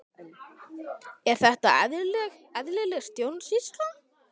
Er þetta eðlileg stjórnsýsla?